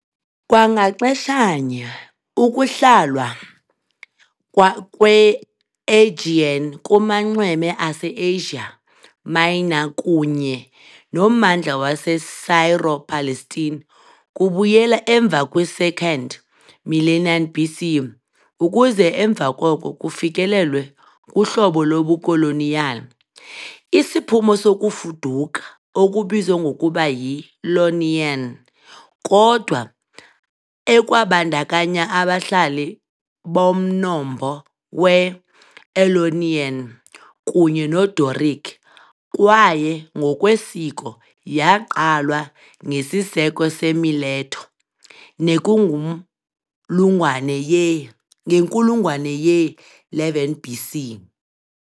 Kwangaxeshanye, ukuhlalwa kweAegean kumanxweme aseAsia Minor kunye nommandla waseSyro-Palestine kubuyela emva kwi2nd millennium BC, ukuze emva koko kufikelelwe kuhlobo lobukoloniyali, isiphumo sokufuduka, okubizwa ngokuba yi "Ionian". ", kodwa ekwabandakanya abahlali bomnombo we-Aeolian kunye noDoric, kwaye ngokwesiko yaqalwa ngesiseko seMileto, nekungumlungwane ye ngenkulungwane ye-11 BC.